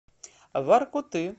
воркуты